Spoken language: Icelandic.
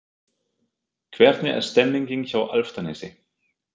Hvernig er stemningin hjá Álftanesi?